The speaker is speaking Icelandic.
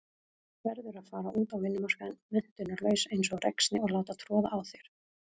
Verður að fara út á vinnumarkaðinn menntunarlaus einsog ræksni og láta troða á þér.